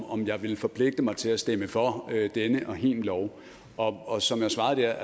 om jeg ville forpligte mig til at stemme for denne og hin lov og og som jeg svarede der